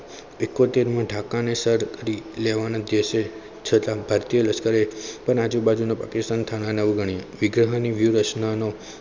ઈકોતેર મી ઢાકા ના સરહદે છતા ભારતીય લશ્કરે આજુબાજુના લશ્કરી થાના ને અવગણ્યા.